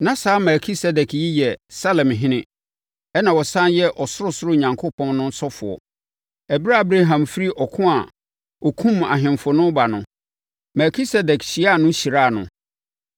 Na saa Melkisedek yi yɛ Salemhene, ɛnna ɔsane yɛ Ɔsorosoro Onyankopɔn ɔsɔfoɔ. Ɛberɛ a Abraham firi ɔko a ɔkumm ahemfo ano reba no, Melkisedek hyiaa no hyiraa no.